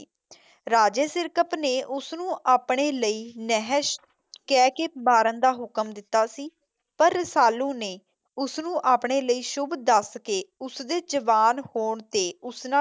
ਰਾਜੇ ਸਿਰਕਪ ਨੇ ਉਸ ਨੂੰ ਆਪਣੇ ਲਈ ਨਹਸ਼ ਕਹਿ ਕੇ ਮਾਰਨ ਦਾ ਹੁਕਮ ਦਿੱਤਾ ਸੀ ਪਰ ਰਸਾਲੂ ਨੇ ਉਸ ਨੂੰ ਆਪਣੇ ਲਈ ਸ਼ੂਭ ਦੱਸ ਕੇ ਉਸ ਦੇ ਜਵਾਨ ਹੋਣ ਤੇ ਉਸ ਨਾ